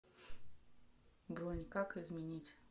бронь как изменить